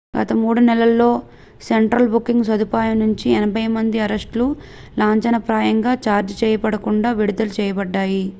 గత 3 నెలల్లో central booking సదుపాయం నుంచి 80 మంది అరెస్ట్ లు లాంఛనప్రాయంగా ఛార్జ్ చేయబడకుండా విడుదల చేయబడ్డాయి